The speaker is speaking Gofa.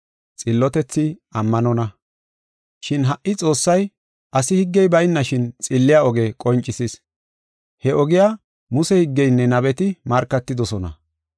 Shin ha77i Xoossay asi higgey baynashin xilliya oge qoncisis. He ogiya Muse higgeynne nabeti markatidosona.